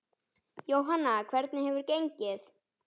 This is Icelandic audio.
Jóhanna: Og hvernig hefur gengið?